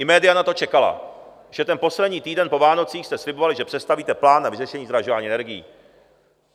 I média na to čekala, že ten poslední týden po Vánocích jste slibovali, že představíte plán na vyřešení zdražování energií.